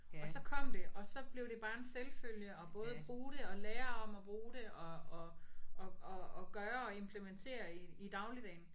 Og så kom det og så blev det bare en selvfølge at både bruge det og lære om at bruge det og og og og og gøre og implementere i i dagligdagen